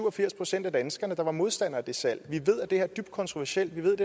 og firs procent af danskerne der var modstandere af det salg vi ved at det her er dybt kontroversielt vi ved